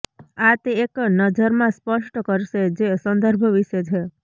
આ તે એક નજરમાં સ્પષ્ટ કરશે જે સંદર્ભ વિશે છે